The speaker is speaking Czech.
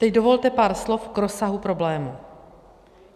Teď dovolte pár slov k rozsahu problému.